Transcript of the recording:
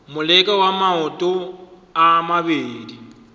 moleko wa maoto a mabedi